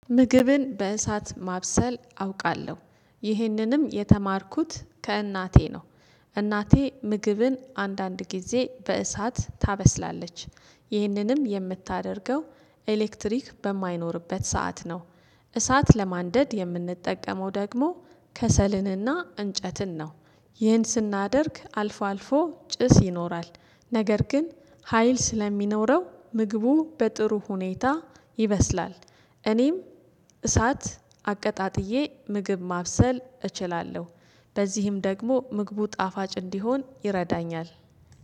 ምግብን በእሳት ማብሰል አውቃለሁ ይህንንም የተማርኩት ከእናቴ ነው። እናቴ ምግብን አንዳንድ ጊዜ በእሳት ታበስላለች። ይህንንም የምታደርገው ኤሌክትሪክ በማይኖርበት ሰዓት ነው። እሳት ለማንደድ የምንጠቀመው ደግሞ ከሰልንና እንጨትን ነው። ይህን ስናደርግ አልፎ አልፎ ጭስ ይኖራል። ነገር ግን ሀይል ስለሚኖረው ምግቡ በጥሩ ሁኔታ ይበስላል። እኔም እሳት አቀጣጥዬ ምግብ ማብሰል እችላለሁ። በዚህም ደግሞ ምግቡ ጣፋጭ እንዲሆን ይረዳኛል።